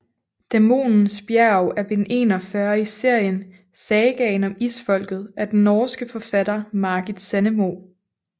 Dæmonens bjerg er bind 41 i serien Sagaen om Isfolket af den norske forfatter Margit Sandemo